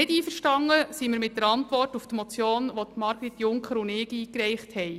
Nicht einverstanden sind wir mit der Antwort auf die Motion, die Margrit Junker und ich eingereicht haben.